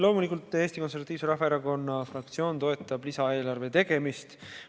Loomulikult Eesti Konservatiivse Rahvaerakonna fraktsioon toetab lisaeelarve tegemist.